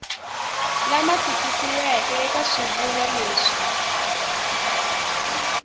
lama tikisiweke eka swivulwa leswi